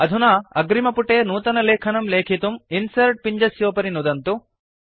अधुना अग्रिमपुटे नूतनलेखनं लेखितुं इन्सर्ट् पिञ्जस्योपरि नुदन्तु